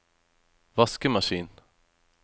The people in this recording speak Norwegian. vaskemaskin